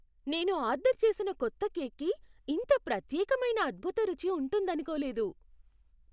నేను ఆర్డర్ చేసిన కొత్త కేక్కి ఇంత ప్రత్యేకమైన అద్భుత రుచి ఉంటుందనుకోలేదు .